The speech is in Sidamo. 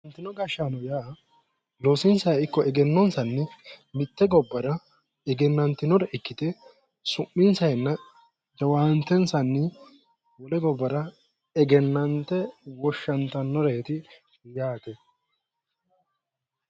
Afantino gashshaano yaa loosonsa ikko egennonsanni mitte gobbara egennantinore ikkite su'minsayinna jawaantensayi wole gobbara egennante woshshantannoreeti yaate